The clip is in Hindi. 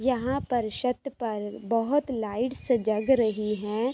यहाँ पर शत पर बहोत लाइट सजग रहीं हैं।